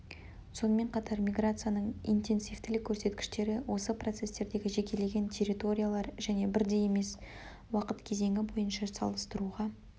сонымен қатар миграцияның интенсивтілік көрсеткіштері осы процестердегі жекелеген территориялар және бірдей емес уақыт кезеңі бойынша салыстыруға